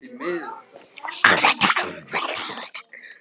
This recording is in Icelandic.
Voru kóngur og drottning í örsmáu ríki.